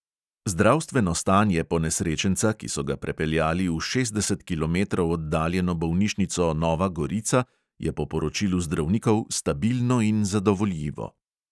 Zdravstveno stanje ponesrečenca, ki so ga prepeljali v šestdeset kilometrov oddaljeno bolnišnico nova gorica, je po poročilu zdravnikov "stabilno in zadovoljivo".